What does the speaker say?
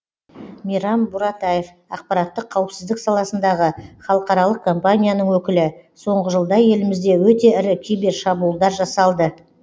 мейрам буратаев ақпараттық қауіпсіздік саласындағы халықаралық компанияның өкілі соңғы жылда елімізде өте ірі кибершабуылдар жасалды